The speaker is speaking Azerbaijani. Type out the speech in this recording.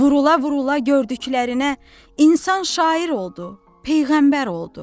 Vurula-vurula gördüklərinə insan şair oldu, peyğəmbər oldu.